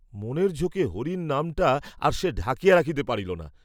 মনের ঝোঁকে হরির নামটা আর সে ঢাকিয়া রাখিতে পারিল না।